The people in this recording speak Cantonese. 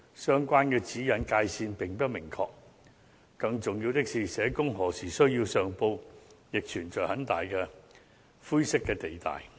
相關指引界線並不明確，更重要的是，社工何時需要上報亦存在很大的灰色地帶。